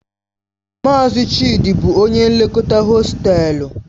Mazi Chidi bu onye nlekọta hostelu..